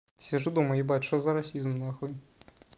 сижу дома ебать что за расизм нахуй